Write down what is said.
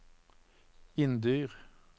Inndyr